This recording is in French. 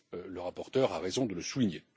Le rapporteur a raison de le souligner.